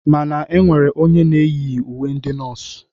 Mana e nwere onye na-eyighi uwe ndị nọọsụ